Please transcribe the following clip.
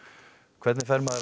hvernig fer maður